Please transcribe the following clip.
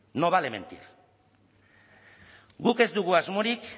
no vale mentir guk ez dugu asmorik